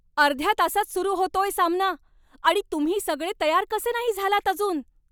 अर्ध्या तासात सुरु होतोय सामना. आणि तुम्ही सगळे तयार कसे नाही झालात अजून?